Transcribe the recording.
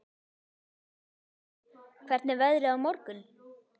Össur, hvernig er veðrið á morgun?